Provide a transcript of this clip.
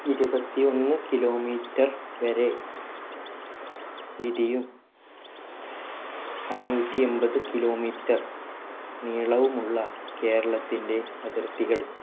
ഇരുപത്തി ഒന്ന് kilometer വരെ വീതിയും അഞ്ഞൂറ്റി എൺപത് kilometer നീളവും ഉള്ള കേരളത്തിന്റെ അതിർത്തികൾ